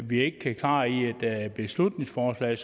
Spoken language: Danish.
vi ikke kan klare med et beslutningsforslag